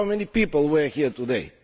Look how many people were here today!